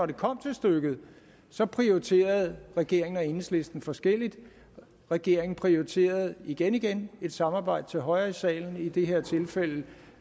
det kom til stykket at så prioriterede regeringen og enhedslisten forskelligt regeringen prioriterede igen igen et samarbejde til højre i salen i det her tilfælde